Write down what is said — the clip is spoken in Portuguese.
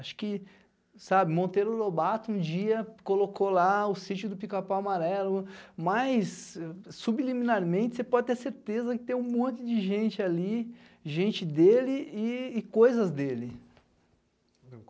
Acho que, sabe, Monteiro Lobato um dia colocou lá o sítio do Picapau Amarelo, mas subliminarmente você pode ter certeza que tem um monte de gente ali, gente dele e coisas dele.